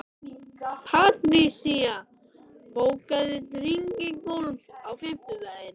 Patrisía, bókaðu hring í golf á fimmtudaginn.